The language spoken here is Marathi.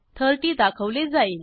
30 दाखवले जाईल